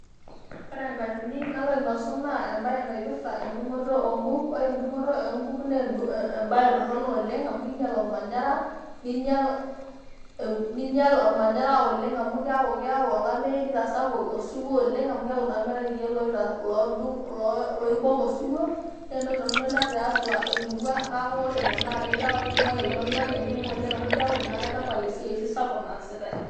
Ore en'atini nainosu naa engatini naipirta edung'oto oo nkuk' ore edung'oto oo nkuk' naa ebae torronok oleng' amu keinyial olmanyara neinyial olmanyara oleng' amu keeku keyau olameyu neitasapuk osiwuo oleng' amu keeku naa meetae irkiek looita loodu loibok osiwuo naa entoki torronok tiatua emurua amu ore Ina naa kejo adumaki oltung'anak enkima oleng' amu keeku naa kaitapal oshi esiai naasitae.